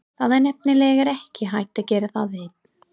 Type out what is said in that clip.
Það er nefnilega ekki hægt að gera það einn.